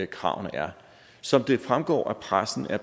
kravene er som det fremgår af pressen er